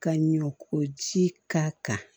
Ka ɲɛ ko ji ka kan